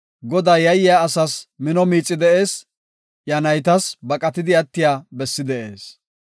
Godaa yayiya asas mino miixay de7ees; iya naytas baqatidi attiya bessi de7ees.